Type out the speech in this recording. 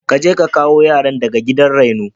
Kaje ka kawo yaran daga gidan raino.